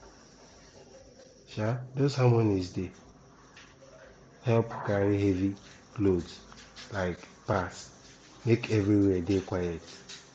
um those harmonies dey help carry heavy loads um pass make everywhere dey quiet